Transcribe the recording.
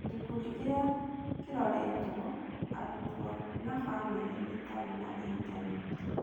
Gĩkundi kĩrĩa kĩroretwo: Arutwo na famĩlĩ itarĩ na intaneti.